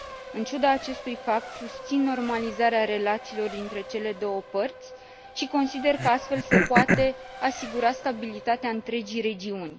În ciuda acestui fapt, susțin normalizarea relațiilor dintre cele două părți și consider că, astfel, se poate asigura stabilitatea întregii regiuni.